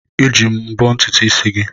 Eji m mbọ́ ntutu isi gị.